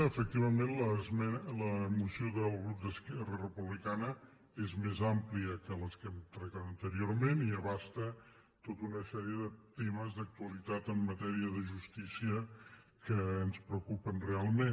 efectivament la moció del grup d’esquerra republicana és més àmplia que les que hem tractat anteriorment i abasta tota una sèrie de temes d’actualitat en matèria de justícia que ens preocupen realment